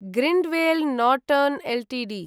Grindwell Norton Ltd